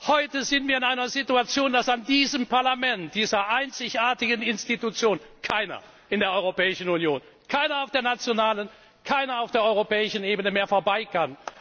Heute sind wir in einer Situation, dass an diesem Parlament, dieser einzigartigen Institution, keiner in der Europäischen Union, keiner auf der nationalen und keiner auf der europäischen Ebene mehr vorbeikann.